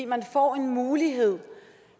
man får en mulighed